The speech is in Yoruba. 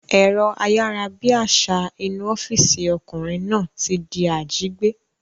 Ẹ̀rọ ayárabíàṣá inú ọ́físì ọkùnrin náà ti di àjígbé